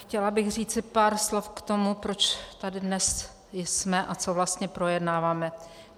Chtěla bych říci pár slov k tomu, proč tady dnes jsme a co vlastně projednáváme.